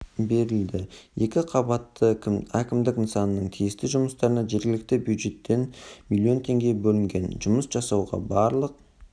берілді екі қабатты кімдік нысанының тиісті жұмыстарына жергілікті бюджеттен млн теңге бөлінген жұмыс жасауға барлық